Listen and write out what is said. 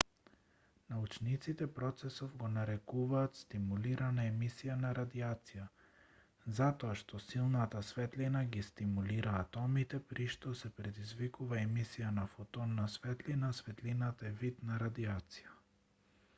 научниците процесов го нарекуваат стимулирана емисија на радијација затоа што силната светлина ги стимулира атомите при што се предизвикува емисија на фотон на светлина а светлината е вид на радијација